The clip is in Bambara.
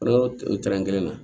yɔrɔ tɛnɛn kelen na